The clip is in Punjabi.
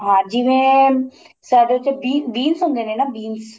ਹਾਂ ਜਿਵੇਂ ਸਾਡੇ ਚ be beans ਹੁੰਦੇ ਨੇ ਨਾ beans